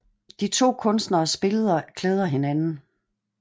De to Kunstneres Billeder klæder hinanden